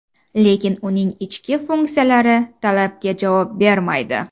Lekin uning ichki funksiyalari talabga javob bermaydi.